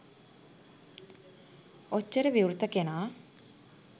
ඔච්චර විවෘත කෙනා